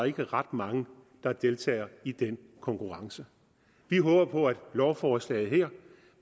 ikke er ret mange der deltager i den konkurrence vi håber på at lovforslaget her